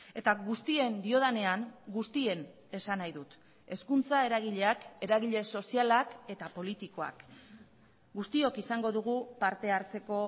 eta guztien diodanean guztien esan nahi dut hezkuntza eragileak eragile sozialak eta politikoak guztiok izango dugu parte hartzeko